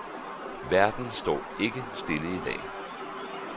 Verden står ikke stille i dag.